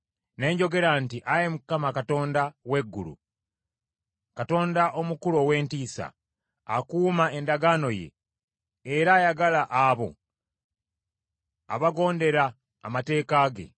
Ne njogera nti, “Ayi Mukama Katonda w’eggulu, Katonda omukulu ow’entiisa, akuuma endagaano ye, era ayagala abo abagondera amateeka ge.